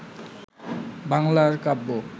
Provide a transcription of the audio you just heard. বাঙলার কাব্য